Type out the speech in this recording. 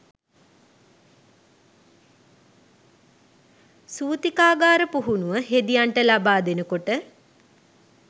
සූතිකාගාර පුහුණුව හෙදියන්ට ලබා දෙනකොට.